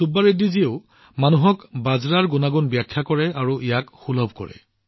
চুব্বা ৰেড্ডীজীয়ে জনসাধাৰণক বাজৰাৰ সুবিধাসমূহ ব্যাখ্যা কৰে আৰু ইয়াক সহজে উপলব্ধ কৰে